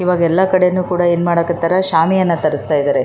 ಯಾವ್ದೋ one function ಇಗೆ ಆ ಥರ ಶಾಮಿಯಾನ ಬಳ್ಸಿ--